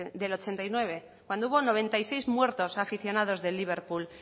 del ochenta y nueve cuando hubo noventa y seis muertos aficionados del liverpool